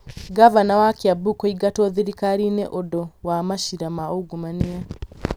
ngavana wa Kiambu kũingatwo thirikari-inĩ nĩ ũndũ wa maciira ma ungumania